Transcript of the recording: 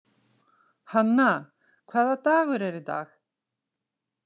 Hanna, hvaða dagur er í dag?